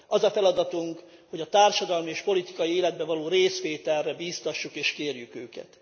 Az a feladatunk, hogy a társadalmi és politikai életben való részvételre bíztassuk és kérjük őket.